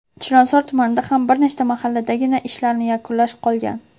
Chilonzor tumanida ham bir nechta mahalladagina ishlarni yakunlash qolgan.